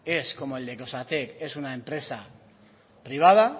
es como el de que osatek es una empresa privada